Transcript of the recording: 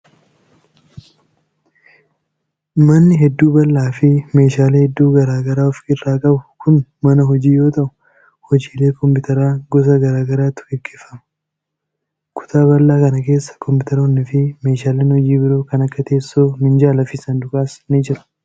Manni heedduu bal'aa fi meeshaalee hedduu garaa garaa of irraa qabu kun mana hojii yoo ta'u, hojiilee kompiitaraa gosa garaatu gaggeeffama. Kutaa bal'aa kana keessa koompitaroonni fi meeshaaleen hojii biroo kan akka teessoo, minjaala fi saanduqaas ni jiru.